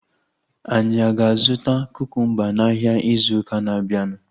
Anyị aga azụta kukumba n'ahia ịzụ ụka na-abianu?